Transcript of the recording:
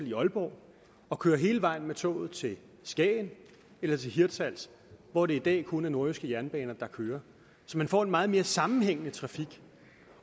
i aalborg og køre hele vejen med toget til skagen eller hirtshals hvor det i dag kun er nordjyske jernbaner der kører så man får en meget mere sammenhængende trafik